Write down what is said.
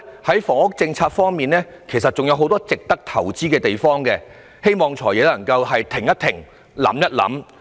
在房屋政策方面，其實仍然有很多值得投資的地方，我希望"財爺"可以停一停，想一想。